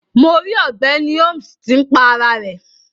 Mo ri ogbeni Holmes ti n pá ara rẹ.